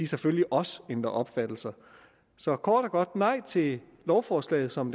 selvfølgelig også ændrer opfattelse så kort og godt nej til lovforslaget som